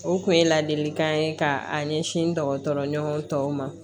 O kun ye ladilikan ye ka ɲɛsin dɔgɔtɔrɔɲɔgɔn tɔw ma